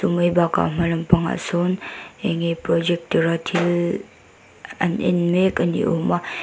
chu mai bakah a hma lampang ah sawn enge projector a thil an en mek ani awm a.